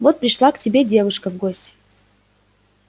вот пришла к тебе девушка в гости